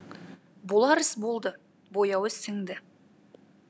болар іс болды бояуы сіңді